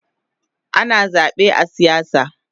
Ana zabe a siyasa